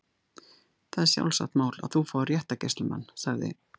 Það er sjálfsagt mál að þú fáir réttargæslumann- sagði